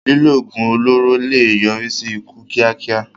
Lílo oògùn olóró lè yọrí sí ikú kíákíá.